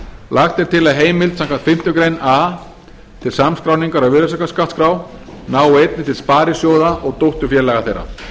lagt er til að heimild samkvæmt fimmtu grein a til samskráningar á virðisaukaskattsskrá nái einnig til sparisjóða og dótturfélaga þeirra